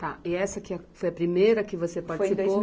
Tá, e essa que a foi a primeira que você participou? Foi em dois mil